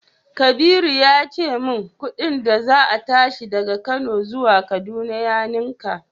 Kabiru ya ce min kudin da za a tashi daga Kano zuwa kaduna ya ninka.